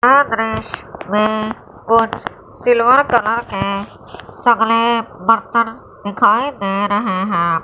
यह दृश्य में कुछ सिल्वर कलर के बर्तन दिखाई दे रहे हैं।